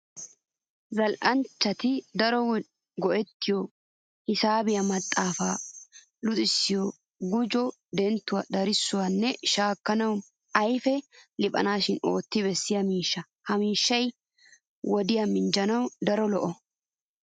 Zal"anchchati daro go"ettiyo hisaabiya maxaafay luxissiyo gujuwa, denttuwa, darissuwa nne shaakuwa ayfee liphanawu ootti bessiya miishshaa. Ha miishshay wodiya minjjanawu daro lo"o.